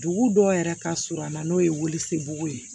Dugu dɔw yɛrɛ ka surun a na n'o ye weele sebugu ye